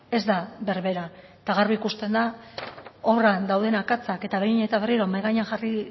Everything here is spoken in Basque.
ez da berbera eta garbi ikusten da obran dauden akatsak eta behin eta berriro mahai gainean jarri